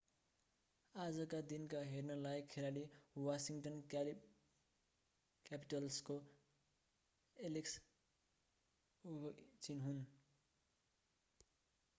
आजका दिनका हेर्नलायक खेलाडी वाशिङ्गटन क्यापिटल्सको एलेक्स ओभेचिन हुन्